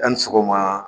A' ni sɔgɔma